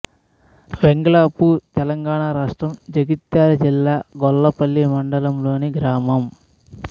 వెంగళాపూర్ తెలంగాణ రాష్ట్రం జగిత్యాల జిల్లా గొల్లపల్లి మండలంలోని గ్రామం